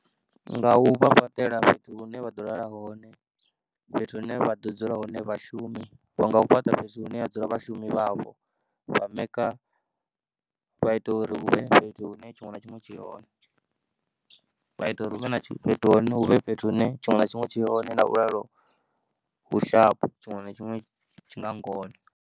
Nga u vha fhaṱela fhethu hune vha ḓo lala hone, fhethu hune vha ḓo dzula hone vhashumi vha nga u fhaṱa fhethu hune ha dzula vhashumi vhavho. Vha maker, vha ita uri hu vhe fhethu hune tshiṅwe na tshiṅwe tshi hone, vha ita uri hu vhe na fhethu hone hu vhe fhethu hune tshiṅwe na tshiṅwe tshi hone na vhulalo hu sharp tshiṅwe na tshiṅwe tshi nga ngona.